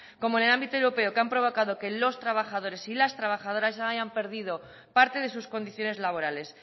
como en el ámbito europeo que han provocado que los trabajadores y las trabajadores hayan perdido parte de sus condiciones laborales